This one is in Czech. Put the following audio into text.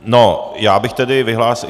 No, já bych tedy vyhlásil...